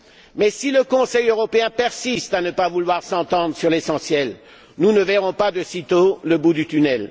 Mais si le Conseil européen persiste à ne pas vouloir s'entendre sur l'essentiel, nous ne verrons pas de sitôt le bout du tunnel.